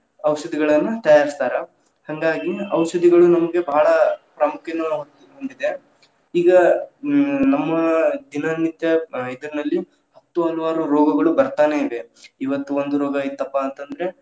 ಔಷಧಿಗಳನ್ನ ತಯಾರಿಸ್ತಾರ್‌ ಹಂಗಾಗಿ ಔಷಧಿಗಳು ನಮಗೆ ಬಹಳ ಪ್ರಾಮುಖ್ಯಯನ್ನು ಹೊಂದಿದೆ, ಈಗ ಹ್ಮ್ ನಮ್ಮ‌ ದಿನನಿತ್ಯ ಇದ್‌ನಲ್ಲಿ ಹತ್ತು ಹಲವಾರು ರೋಗಗಳು ಬರ್ತಾನೇ ಇವೆ, ಇವತ್ತು ಒಂದ್‌ ರೋಗಾ ಇತ್ತಪ್ಪಾ ಅಂದ್ರೆ.